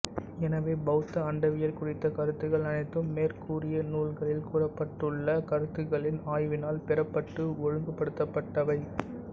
எனவே பௌத்த அண்டவியல் குறித்த கருத்துகள் அனைத்தும் மேற்கூறிய நூல்களில் கூறப்பட்டுள்ள கருத்துகளின் ஆய்வினால் பெறப்பட்டு ஒழுங்குப்படுத்தப்பட்டவை